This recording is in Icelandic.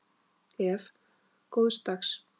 Ef. góðs dags